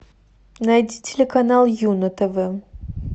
найди телеканал ю на тв